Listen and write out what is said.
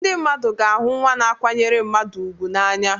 Ndị mmadụ ga-ahụ nwa na-akwanyere mmadụ ùgwù n'anya.